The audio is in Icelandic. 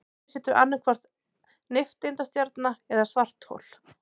Eftir situr annaðhvort nifteindastjarna eða svarthol.